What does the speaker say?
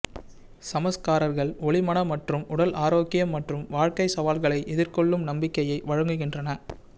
சம்ஸ்காரர்கள் ஒலி மன மற்றும் உடல் ஆரோக்கியம் மற்றும் வாழ்க்கை சவால்களை எதிர்கொள்ளும் நம்பிக்கையை வழங்குகின்றன